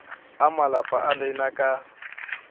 a malapa a lena ka